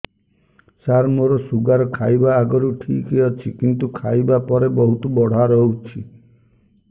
ସାର ମୋର ଶୁଗାର ଖାଇବା ଆଗରୁ ଠିକ ଅଛି କିନ୍ତୁ ଖାଇବା ପରେ ବହୁତ ବଢ଼ା ରହୁଛି